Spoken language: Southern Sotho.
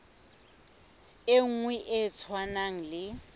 e nngwe e tshwanang le